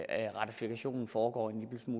at ratifikationsprocessen